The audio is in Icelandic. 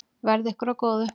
Verði ykkur að góðu.